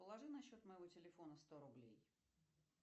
положи на счет моего телефона сто рублей